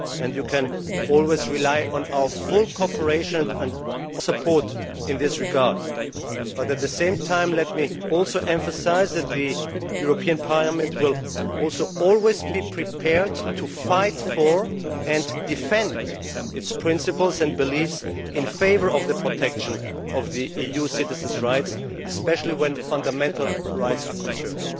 But while you can always rely on our full cooperation and support in this regard, at the same time let me emphasise that the European Parliament will also always be prepared to fight for and defend its principles and beliefs in favour of the protection of EU citizens' rights, especially when fundamental rights are concerned.